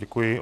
Děkuji.